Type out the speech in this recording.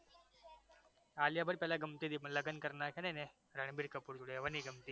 આલિયા ભટ્ટ પેલા ગમતી તી પણ લગન કરી નાખ્યા ને એણે રનબીર કપૂર જોડે હવે નઈ ગમતી